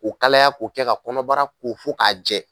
Ko kalaya ko kɛ ka kɔnɔbara ko fo ka jɛ.